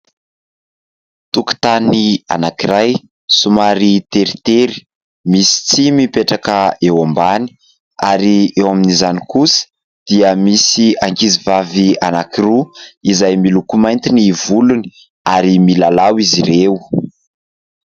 Tokotany anankiray somary teritery, misy tsihy mipetraka eo ambany ary eo amin'izany kosa dia misy ankizy vavy anankiroa izay miloko mainty ny volony ary milalao izy ireo.